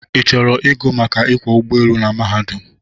ị chọrọ igụ maka ịkwọ ụgbọelu n mahadum?